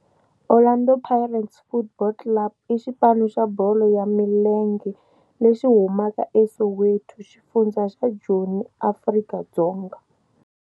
Orlando Pirates Football Club i xipano xa bolo ya milenge lexi humaka eSoweto, xifundzha xa Joni, Afrika-Dzonga.